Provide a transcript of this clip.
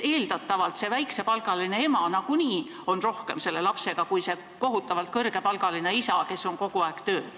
Eeldatavalt on see väiksepalgaline ema nagunii rohkem lapsega kui see kohutavalt kõrgepalgaline isa, kes on kogu aeg tööl.